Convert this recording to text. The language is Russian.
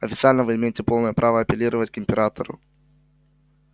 официально вы имеете полное право апеллировать к императору